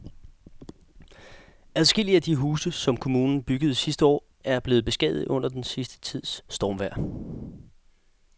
Adskillige af de huse, som kommunen byggede sidste år, er blevet beskadiget under den sidste tids stormvejr.